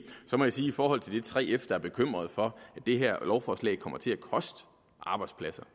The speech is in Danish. så må jeg sige i forhold til 3f som er bekymret for at det her lovforslag kommer til at koste arbejdspladser